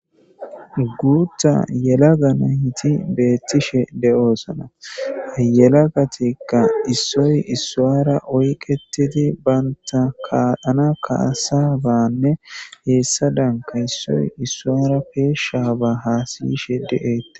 guutta yelaga nayti beettishe de7oosana yelagatikka issoy issuara oyqetidi baynta kaalana kaasa banne heessa danka issoy issuara peeshshaba haasiyishe de7eette